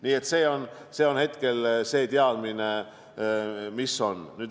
Nii et see on hetkel see teadmine, mis on.